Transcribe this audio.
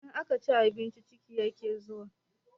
In an ci abinci ciki yake zuwa